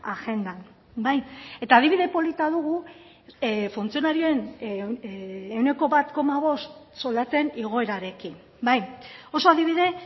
agendan bai eta adibide polita dugu funtzionarioen ehuneko bat koma bost soldaten igoerarekin bai oso adibide